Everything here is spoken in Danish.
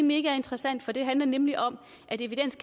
megainteressant for det handler nemlig om at evidens